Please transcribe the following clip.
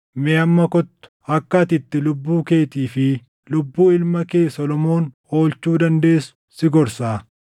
Mee amma kottu akka ati itti lubbuu keetii fi lubbuu ilma kee Solomoon oolchuu dandeessu si gorsaa.